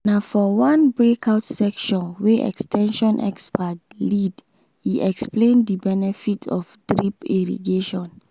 na for one breakout session wey ex ten sion experts lead e explain the benefit of drip irrigation.